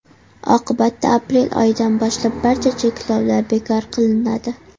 Oqibatda aprel oyidan boshlab barcha cheklovlar bekor qilinadi.